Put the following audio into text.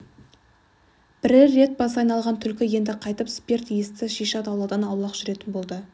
бірер рет басы айналған түлкі енді қайтып спирт иісті шиша атаулыдан аулақ жүретін болды